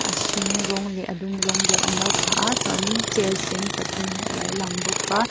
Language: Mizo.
a hring rawng leh a dum rawng deuh an lo phah a chuanin chair sen pathum hi a lo lang bawk a--